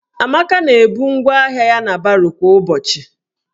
Amaka na-ebu ngwaahịa ya na baro kwa ụbọchị.